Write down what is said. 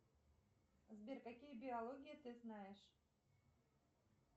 сбер какие биологии ты знаешь